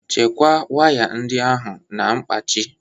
Chekwaa waya ndị ahụ na mkpachị.